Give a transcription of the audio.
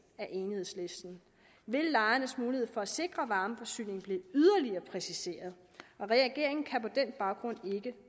af enhedslisten vil lejernes mulighed for at sikre varmeforsyning blive yderligere præciseret og regeringen kan på den baggrund ikke